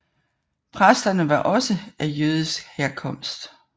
Præsterne var også af jødisk herkomst